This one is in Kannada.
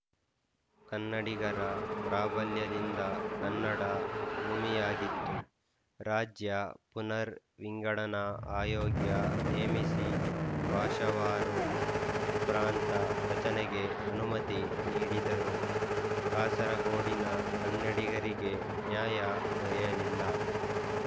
ಕನ್ನಡಿಗರ ಪ್ರಾಬಲ್ಯದಿಂದ ಕನ್ನಡ ಭೂಮಿಯಾಗಿತ್ತು ರಾಜ್ಯ ಪುನರ್ ವಿಂಗಡನಾ ಆಯೋಗ್ಯ ನೇಮಿಸಿ ಭಾಷವಾರು ಪ್ರಾಂತ ರಚನೆಗೆ ಅನುಮತಿ ನೀಡಿದರು ಕಾಸರಗೋಡಿನ ಕನ್ನಡಿಗರಿಗೆ ನ್ಯಾಯ ದೊರೆಯಲಿಲ್ಲ